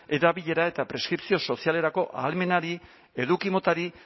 erabilera eta preskripzio sozialerako ahalmenari eduki motari